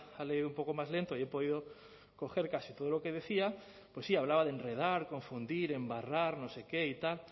ha leído un poco más lento y he podido coger casi todo lo que decía pues sí hablaba de enredar confundir embarrar no sé qué y tal